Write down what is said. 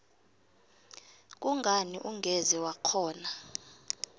kungani ungeze wakghona